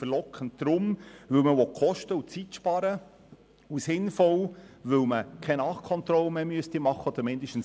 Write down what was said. Verlockend deshalb, weil man Kosten und Zeit sparen will, und sinnvoll, weil man keine oder weniger Nachkontrollen machen müsste.